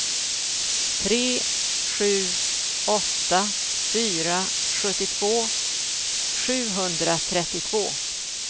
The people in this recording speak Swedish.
tre sju åtta fyra sjuttiotvå sjuhundratrettiotvå